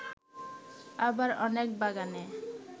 আবার অনেক বাগানে